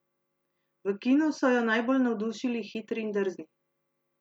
V kinu so jo najbolj navdušili Hitri in drzni.